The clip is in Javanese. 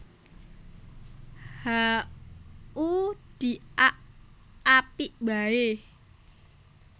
Ha u di ak Apik waé